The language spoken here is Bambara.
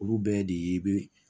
Olu bɛɛ de bɛ